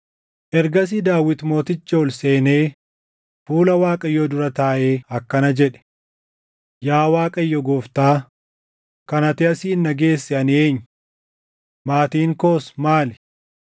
Ergasii Daawit mootichi ol seenee fuula Waaqayyoo dura taaʼee akkana jedhe: “Yaa Waaqayyo Gooftaa, kan ati asiin na geesse ani eenyu? Maatiin koos maali?